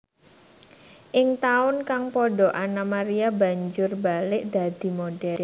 Ing taun kang padha Anna Maria banjur mbalik dadi modhél